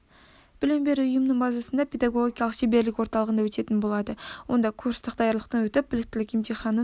білім беру ұйымының базасында педагогикалық шеберлік орталығында өтетін болады онда курстық даярлықтан өтіп біліктілік емтиханын